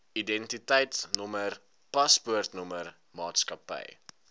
identiteitnommer paspoortnommer maatskappy